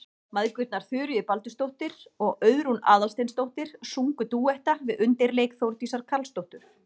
Mæðgurnar Þuríður Baldursdóttir og Auðrún Aðalsteinsdóttir sungu dúetta við undirleik Þórdísar Karlsdóttur.